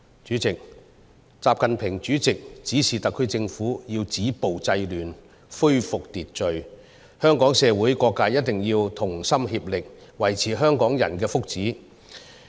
主席，習近平主席指示特區政府要止暴制亂、恢復秩序，香港社會各界一定要同心協力，維護香港人的福祉。